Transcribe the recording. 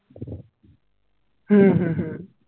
হম হম হম